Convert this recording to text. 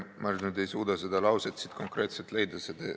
Ma ei suuda seda lauset siit konkreetselt leida.